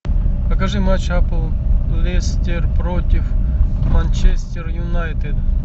покажи матч апл лестер против манчестер юнайтед